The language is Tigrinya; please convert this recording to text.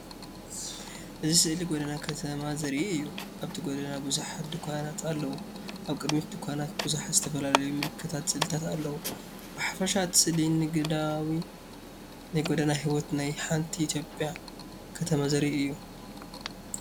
እዚ ስእሊ ጎደና ከተማ ዘርኢ እዩ። ኣብቲ ጎደና ብዙሓት ድኳናት ኣለዋ። ኣብ ቅድሚት ድኳናት ብዙሓት ዝተፈላለዩ ምልክታትን ስእልታትን ኣለዉ። ብሓፈሻ እቲ ስእሊ ንግዳዊን ናይ ጎደና ህይወትን ናይ ሓንቲ ኢትዮጵያ ከተማ ዘርኢ እዩ።